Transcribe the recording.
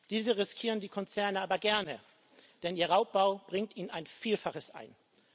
Diese riskieren die Konzerne aber gerne, denn ihr Raubbau bringt ihnen ein Vielfaches ein.